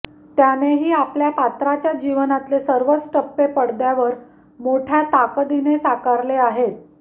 त्यानेही आपल्या पात्राच्या जीवनातले सर्वच टप्पे पडद्यावर मोठय़ा ताकदीने साकारले आहेत